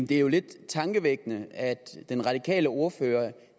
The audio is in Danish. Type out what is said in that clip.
det er jo lidt tankevækkende at den radikale ordfører